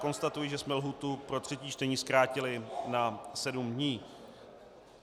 Konstatuji, že jsme lhůtu pro třetí čtení zkrátili na sedm dní.